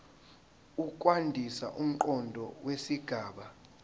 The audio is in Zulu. ukwandisa umqondo wesigaba